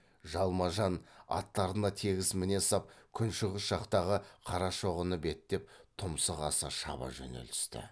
жалма жан аттарына тегіс міне сап күншығыс жақтағы қарашоғыны беттеп тұмсық аса шаба жөнелісті